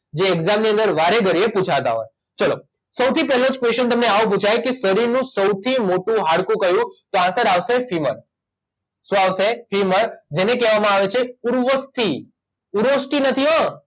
જે એક્ઝામની અંદર વારેઘડીએ પૂછાતા હોય ચલો સૌથી પહેલો જ ક્વેચ્શન તમને આવો પૂછાય કે શરીરનું સૌથી મોટું હાડકું કયું તો આન્સર આવશે ફીમર શું આવશે ફીમર જેને કહેવામાં આવે છે ઉર્વસ્થિ ઉર્વષ્ટિ નથી હો